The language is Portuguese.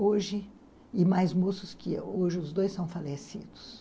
Hoje, e mais moços que hoje, os dois são falecidos.